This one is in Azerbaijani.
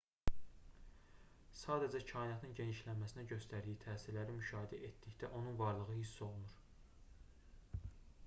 sadəcə kainatın genişləməsinə göstərdiyi təsirləri müşahidə etdikdə onun varlığı hiss olunur